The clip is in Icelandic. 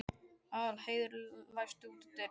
Aðalheiður, læstu útidyrunum.